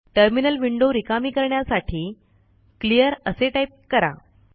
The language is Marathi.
टर्मिनल विंडो रिकामी करण्यासाठी क्लिअर असे टाईप करा